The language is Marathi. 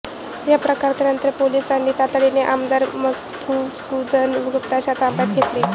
या प्रकारानंतर पोलिसांनी तातडीने आमदार मधुसूदन गुप्तांना ताब्यात घेतलं